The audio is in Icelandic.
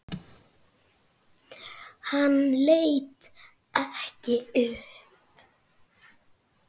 Hann leit ekki upp.